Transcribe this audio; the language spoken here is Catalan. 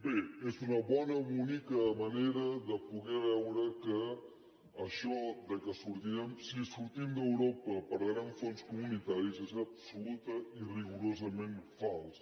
bé és una bona bonica manera de poder veure que això que si sortim d’europa perdrem fons comunitaris és absolutament i rigorosament fals